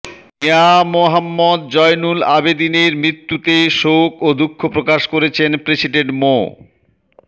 মিয়া মোহাম্মদ জয়নুল আবেদীনের মৃত্যুতে শোক ও দুঃখপ্রকাশ করেছেন প্রেসিডেন্ট মো